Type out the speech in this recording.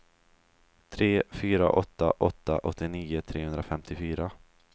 tre fyra åtta åtta åttionio trehundrafemtiofyra